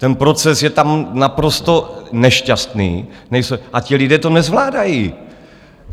Ten proces je tam naprosto nešťastný a ti lidé to nezvládají.